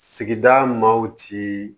Sigida maaw ci